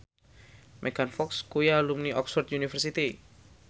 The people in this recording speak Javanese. Megan Fox kuwi alumni Oxford university